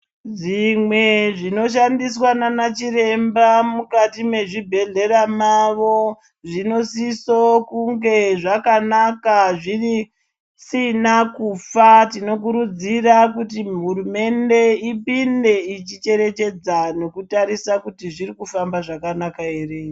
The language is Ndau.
Zvimwe zvinoshandiswa nanachiremba mukati mwezvibhehlera mavo zvinosiso kunge zvakanaka zvisina kufa tinokurudzira kuti hurumende ipinde ichicherechedza nekutarisa kuti zvirikufamba zvakanaka ere.